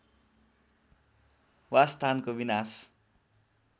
वासस्थानको विनाश